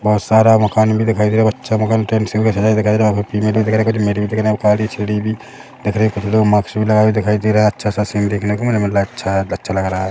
बहोत सारा मकान भी दिखाई दे रहा है अच्छा लग रहा है।